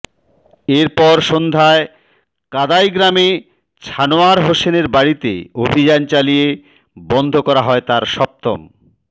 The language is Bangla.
এরপর সন্ধ্যায় কাদাই গ্রামে ছানোয়ার হোসেনের বাড়িতে অভিযান চালিয়ে বন্ধ করা হয় তার সপ্তম